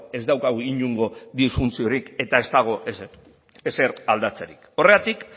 ez daukagu inongo disfuntziorik eta ez dago ezer aldatzerik horregatik